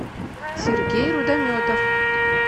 сергей рудометов